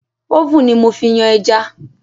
Oven ni mo fi yan ẹja